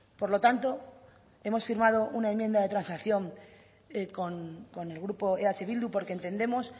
por lo tanto hemos firmado una enmienda de transacción con el grupo eh bildu porque entendemos